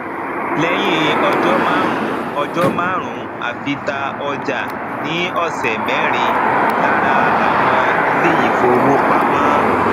leyin ojo marun ojo marun afi ta ọjà ni osẹ merin lára àwọn ilé ifówopàmọ